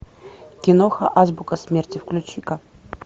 киноха азбука смерти включи ка